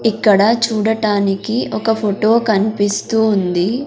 ఇక్కడ చూడటానికి ఒక ఫొటో కన్పిస్తూ ఉంది.